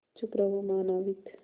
चुप रहो महानाविक